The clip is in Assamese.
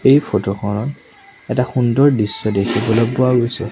এই ফটো খনত এটা সুন্দৰ দৃশ্য দেখিবলৈ পোৱা গৈছে।